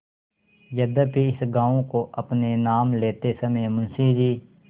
यद्यपि इस गॉँव को अपने नाम लेते समय मुंशी जी